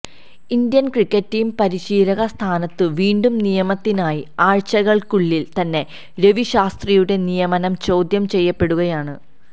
Indian cricket team പരിശീലക സ്ഥാനത്ത് വീണ്ടും നിയമിതനായി ആഴ്ചകള്ക്കുള്ളില് തന്നെ രവി ശാസ്ത്രിയുടെ നിയമനം ചോദ്യം ചെയ്യപ്പെടുകയാണ്